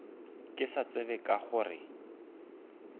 ke sa tsebe ka gore